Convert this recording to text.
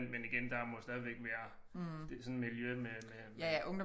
Men men igen der må stadigvæk være sådan miljø med med